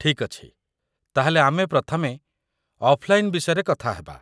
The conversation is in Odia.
ଠିକ୍ ଅଛି, ତା'ହେଲେ ଆମେ ପ୍ରଥମେ ଅଫ୍‌ଲାଇନ୍‌ ବିଷୟରେ କଥା ହେବା